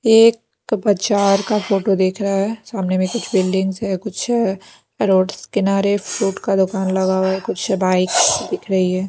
एक बाजार का फोटो देख रहा है सामने में कुछ बिल्डिंग्स है कुछ रोड्स किनारे फूट का दुकान लगा हुआ है कुछ बाइक्स दिख रही है।